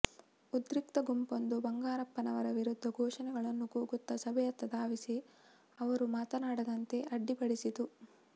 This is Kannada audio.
ಉದ್ರಿಕ್ತ ಗುಂಪೊಂದು ಬಂಗಾರಪ್ಪನವರ ವಿರುದ್ಧ ಘೋಷಣೆಗಳನ್ನು ಕೂಗುತ್ತ ಸಭೆಯತ್ತ ಧಾವಿಸಿ ಅವರು ಮಾತನಾಡದಂತೆ ಅಡ್ಡಿಪಡಿಸಿತು